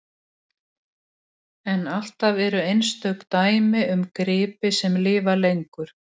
Flekkirnir eru í raun slím og þekjuvefur úr slímhúð þarmanna auk mikils magns af sýklinum.